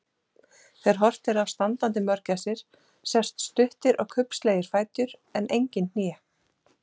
Þegar horft er á standandi mörgæsir sjást stuttir og kubbslegir fætur en engin hné.